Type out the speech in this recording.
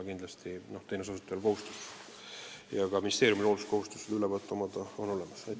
Kindlasti on teenuse osutajal kohustus seda arvet pidada ja ministeeriumil hoolsuskohustus seda ülevaadet omada.